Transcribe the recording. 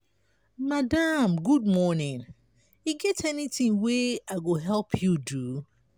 madam good morning e get anytin wey i go help you do?